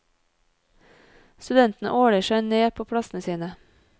Studentene åler seg ned på plassene sine.